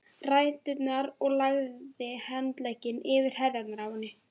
ræturnar og lagði handlegginn yfir herðarnar á henni.